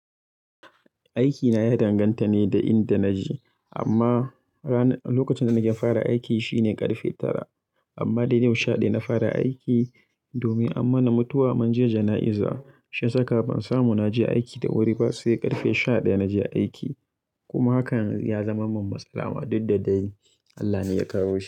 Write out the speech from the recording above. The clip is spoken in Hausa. Aiki na ya danganta ne da inda naje, amma rana-lokacin da nake fara aiki shine karfe tara. Amma dai yau shaɗaya na fara aiki domin an mana mutuwa mun je jana'iza. Shi ya saka ban samu naje aiki da wuri ba sai ƙarfe shaɗaya naje aiki. Kuma hakan ya zama min matsala ma duk da dai Allah ne ya kawo shi.